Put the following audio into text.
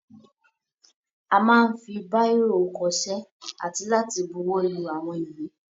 A máa ń fi báìrò kọṣẹ́ àti láti buwọ́lu àwọn ìwé.